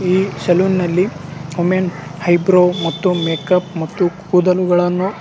ಈ ಶೆಲೂನ್ ನಲ್ಲಿ women eyebrow ಮತ್ತು ಮೇಕಪ್ ಮತ್ತು ಕುಡಲ್ಗಳನ್ನು --